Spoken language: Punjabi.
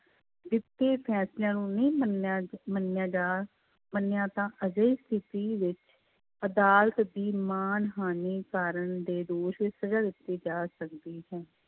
ਦਿੱਤੇ ਫੈਸਲਿਆਂ ਨੂੰ ਨਹੀਂ ਮੰਨਿਆ ਮੰਨਿਆ ਜਾ ਮੰਨਿਆ ਤਾਂ ਅਜਿਹੀ ਸਥਿੱਤੀ ਵਿੱਚ ਅਦਾਲਤ ਦੀ ਮਾਨ ਹਾਨੀ ਕਾਰਨ ਦੇ ਦੋਸ਼ ਵਿੱਚ ਸਜ਼ਾ ਦਿੱਤੀ ਜਾ ਸਕਦੀ ਹੈ।